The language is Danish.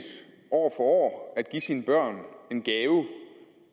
år år at give sine børn en gave